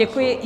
Děkuji.